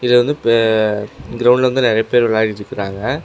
இது வந்து playground ல வந்து நெறைய பேர் வெளாடிட்ருக்கறாங்க.